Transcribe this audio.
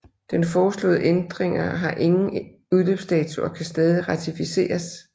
Den foreslåede ændringer har ingen udløbsdato og kan stadig ratificeres